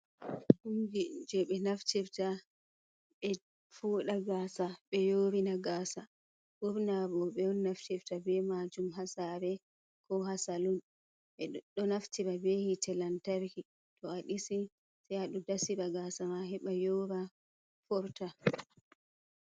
Kumji jey ɓe naftirta ɓe fooɗa gaysa ɓe yoorna gaasa, ɓurna rooɓe on naftirta bee maajum haa saare koo haa salun, ɓe ɗo naftir bee hiite lantarki to a ɗisi sey a ɗo dasira gaasa ma heɓa yoora forta.